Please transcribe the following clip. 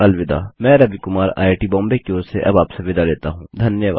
मैं Ravi Kumar IIT Bombay की ओर से आपसे विदा लेता हूँ धन्यवाद